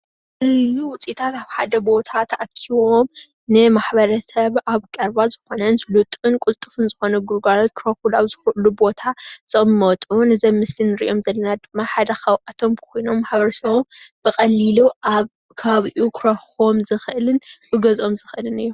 እዩ ውፅኢታት ኣብ ሓደ ቦታ ተኣኪቦም ንማሕበረሰብ ኣብ ቀረባ ዝኾነን ስሉጥን ቁልጥፉን ዝኾነ ግልጋሎት ክረኽብሉ ኣብ ዝኽእሉ ቦታ ዝቅመጡ ነዚ ኣብ ምስሊ ንርእዮም ዘለና ድማ ሓደ ካብኣቶም ኮይኖም ማሕበረሰብ ብቐሊሉ ኣብ ከባቢኡ ክረኽቦም ዝኽእልን ክገዝኦም ዝኽእልን እዮ።